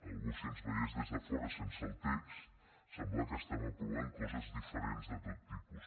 algú si ens veiés des de fora sense el text sembla que estem aprovant coses diferents de tot tipus